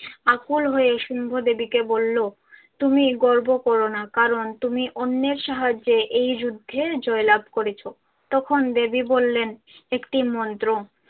আকুল হয়ে শুম্ভ দেবী কে বলল তুমি গর্ব করো না কারণ তুমি অন্যের সাহায্যে এই যুদ্ধে জয়লাভ করেছ। তখন দেবী বললেন একটি মন্ত্র।